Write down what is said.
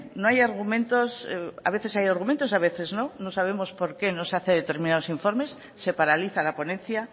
no hay argumentos a veces hay argumentos a veces no no sabemos por qué no se hace determinados informes se paraliza la ponencia